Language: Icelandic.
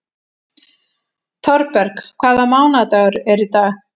Thorberg, hvaða mánaðardagur er í dag?